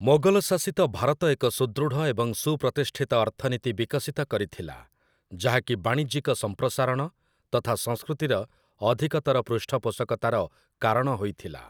ମୋଗଲ ଶାସିତ ଭାରତ ଏକ ସୁଦୃଢ଼ ଏବଂ ସୁପ୍ରତିଷ୍ଠିତ ଅର୍ଥନୀତି ବିକଶିତ କରିଥିଲା, ଯାହାକି ବାଣିଜ୍ୟିକ ସମ୍ପ୍ରସାରଣ ତଥା ସଂସ୍କୃତିର ଅଧିକତର ପୃଷ୍ଠପୋଷକତାର କାରଣ ହୋଇଥିଲା ।